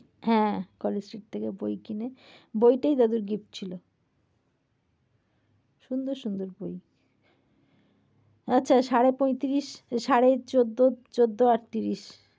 হ্যাঁ college street থেকে বই কিনে বইটাই দাদুর gift ছিল। সুন্দর সুন্দর বই। আচ্ছা সাড়ে পঁয়ত্রিশ সাড়ে চৌদ্দ চৌদ্দ আর ত্রিশ